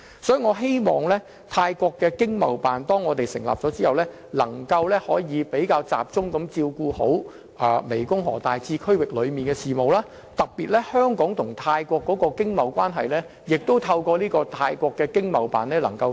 當香港成立泰國經貿辦後，希望能更集中處理大湄公河次區域的事務，特別是透過泰國經貿辦，進一步加強香港與泰國的經貿關係。